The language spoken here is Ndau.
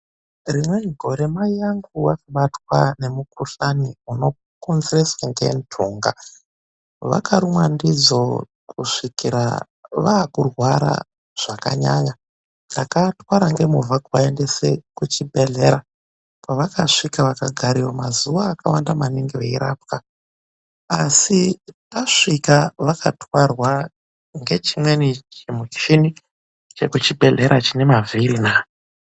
Rimweni gore mai vangu vakabatwa nemukhuhlani unokonzereswa nenhtunga. Vakarumwa ndidzo kusvikira vakurwara zvakanyanya, takavatwara nemovha tikavaendesa kuchibhedhlera kwavakaita mazuwa akawanda veirapwa. Asi tasvika vakatwarwa negechimuchini chemuchibhedhlera chine mavhiri.